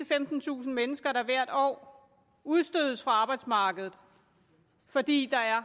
femtentusind mennesker der hvert år udstødes fra arbejdsmarkedet fordi der er